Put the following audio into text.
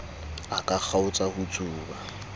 a ka kgaotsa ho tsuba